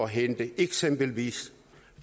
hente eksempelvis